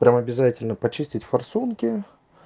прям обязательно почистить форсунки